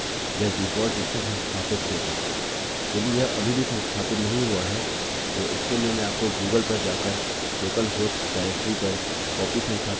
यदि यह अभी भी संस्थापित नहीं हुआ है तो इसके लिए मैं आपको गूगल पर जाकर लोकल हॉस्ट डाइरेक्टरी पर कॉपी संस्थापित करके इसका उपयोग करने की सलाह दूँगा